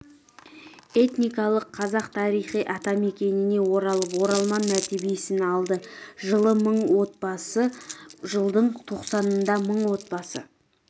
этникалық қазақ тарихи атамекеніне оралып оралман мәртебесін алды жылы мың отбасы жылдың тоқсанында мың отбасы